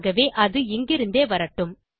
ஆகவே அது இங்கிருந்தே வரட்டும்